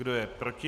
Kdo je proti?